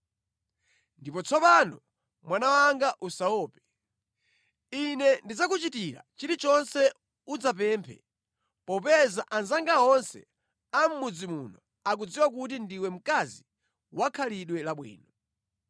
Ndipo tsopano mwana wanga usaope. Ine ndidzakuchitira chilichonse udzapemphe popeza anzanga onse amʼmudzi muno akudziwa kuti ndiwe mkazi wa khalidwe labwino.